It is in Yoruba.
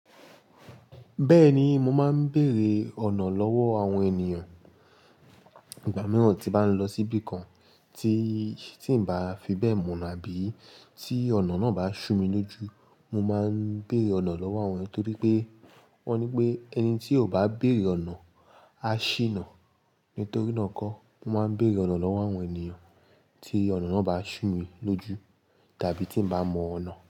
Bẹ́ẹ̀ni, mo máa ń bèrè ọ̀nà lọ́wọ́ àwọn ènìyàn, ìgbà mìíràn tí bá ń lọ síbi kan tí, tí ń bá fi bẹ́ẹ̀ mọ̀ na àbí tí ọ̀nà náà bá sú mi lójú. Mo máa ń bèrè ọ̀nà lọ́wọ́ àwọn ẹyan, torí pé wọ́n ní pé ẹni tí ò bá bèrè ọ̀nà á ṣìnà. Nítorí náà kọ́ mo máa ń bèrè ọ̀nà lọ́wọ́ àwọn ènìyàn tí ọ̀nà náà bá sú mi lójú tàbí tí ń bá mọ ọ̀nà.